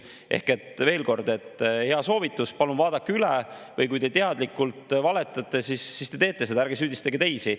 Ehk veel kord hea soovitus: palun vaadake üle, või kui te teadlikult valetate, siis teete seda teie, ärge süüdistage teisi.